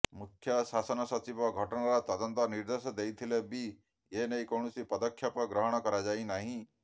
ମୁଖ୍ୟ ଶାସନ ସଚିବ ଘଟଣାର ତଦନ୍ତ ନିର୍ଦ୍ଦେଶ ଦେଇଥିଲେ ବି ଏନେଇ କୌଣସି ପଦକ୍ଷେପ ଗ୍ରହଣ କରାଯାଇନାହିଁ